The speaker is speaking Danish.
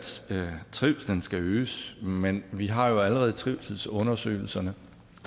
trivslen skal øges men vi har jo allerede trivselsundersøgelserne